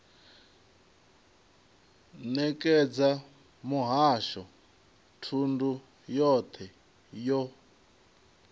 nekedza muhasho thundu yothe yo